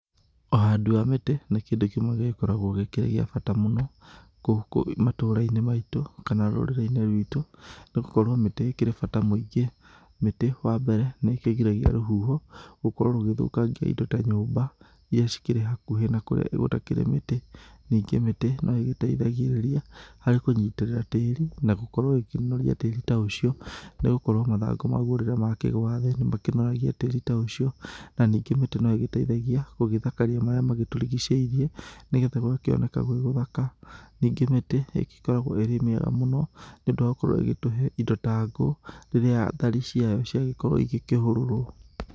Ũhandi wa mĩtĩ nĩ kĩndũ kĩmwe gĩgĩkoragwo gĩkĩrĩ gĩa bata mũno gũkũ matũra-inĩ maitũ, kana rũrĩrĩ-inĩ rwitũ nĩ gũkorwo mĩtĩ ĩkĩrĩ bata mũingĩ. Mĩtĩ wa mbere, nĩ ĩkĩgiragia rũhuho gũkorwo rũgĩthũkangia indo ta nyũmba irĩa cikĩrĩ hakuhĩ na kũrĩa gũtakĩrĩ mĩtĩ, ningĩ mĩtĩ nĩ ĩteithagĩrĩria kũnyitĩrĩra tĩri na gũkorwo ĩkĩnoria tĩri ta ũcio . Nĩ gũkorwo mathangũ mau rĩrĩa makĩgũa thĩ nĩ makĩnoragia tĩri ta ũcio. Na ningĩ mĩtĩ no ĩgĩteithagia gũthakaria marĩa magĩtũrigicĩirie nĩ getha gũgakĩoneka gwĩgũthaka. Ningĩ mĩtĩ ĩkoragwo ĩrĩ mĩega mũno nĩ ũndũ wa gũkorwo ĩgĩtũhe indo ta ngũ rĩrĩa thari ciayo ciagĩkorwo igĩkĩhũrũrwo.